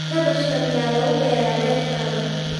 Kaabashka miyaa lagu beeraa beertaada?